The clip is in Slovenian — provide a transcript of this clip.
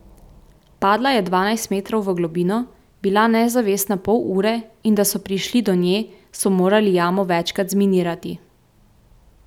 Padla je dvanajst metrov v globino, bila nezavestna pol ure in da so prišli do nje, so morali jamo večkrat zminirati.